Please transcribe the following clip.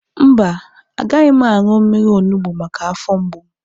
Mba, agaghị m aṅụ mmiri onugbu maka afọ mgbu m